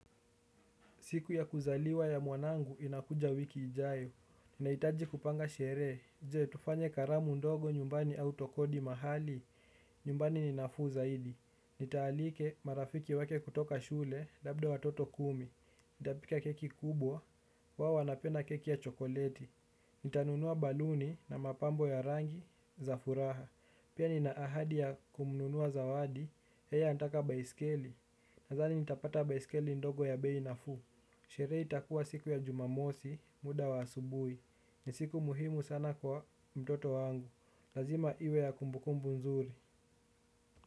Siku ya kuzaliwa ya mwanangu inakuja wiki ijayo. Ninaitaji kupanga shere. Jee tufanye karamu ndogo nyumbani au to kodi mahali. Nyumbani ninafu zaidi. Nitalike marafiki wake kutoka shule labda watoto kumi. Nita pika keki kubwa. Wawo wanapenda keki ya chokoleti. Nitanunua baluni na mapambo ya rangi za furaha. Pia nina ahadi ya kumununua zawadi. Yeye anataka baiskeli. Nadhani nitapata baiskeli ndogo ya bei nafu. Shere itakuwa siku ya jumamosi, muda wa asubui. Ni siku muhimu sana kwa mtoto wangu. Lazima iwe ya kumbukumbu nzuri.